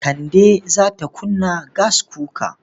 Kande za ta kunna gaskuka.